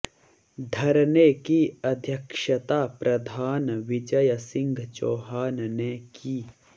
धरने की अध्यक्षता प्रधान विजय सिंह चौहान ने की